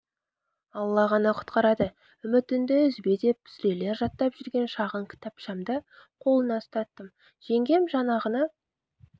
алла ғана құтқарады үмітіңді үзбе деп сүрелер жаттап жүрген шағын кітапшамды қолына ұстаттым жеңгем жаңағыны